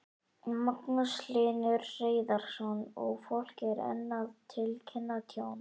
Magnús Hlynur Hreiðarsson: Og fólk er enn að tilkynna tjón?